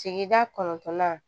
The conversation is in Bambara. Sigida kɔnɔntɔnnan